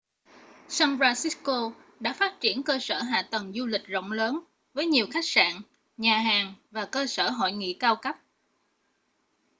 san francisco đã phát triển cơ sở hạ tầng du lịch rộng lớn với nhiều khách sạn nhà hàng và cơ sở hội nghị cao cấp